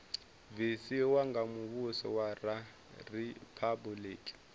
bvisiwa nga muvhuso wa riphabuliki